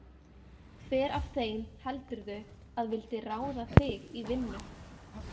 Hver af þeim heldurðu að vildi ráða þig í vinnu?